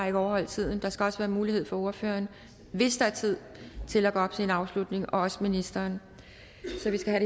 ikke overholde tiden der skal også være mulighed for ordføreren hvis der er tid til at gå op til en afslutning og også ministeren så vi skal